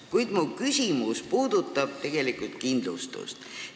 Kuid mu küsimus puudutab tegelikult kindlustust.